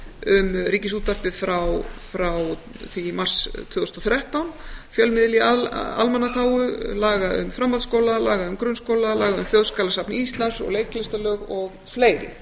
um ríkisútvarpið frá í í mars tvö þúsund og þrettán fjölmiðil í almannaþágu í laga um framhaldsskóla laga um grunnskóla laga um þjóðskjalasafn íslands og leiklistarlög og fleiri